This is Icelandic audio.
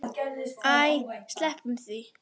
Æ, sleppum því.